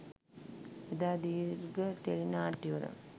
එදා දීර්ඝ ටෙලි නාට්‍යවල